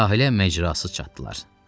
Sahilə məcrasız çatdılar.